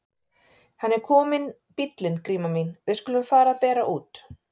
Hann er kominn bíllinn Gríma mín, við skulum fara að bera út.